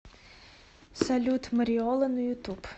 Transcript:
салют мариола на ютуб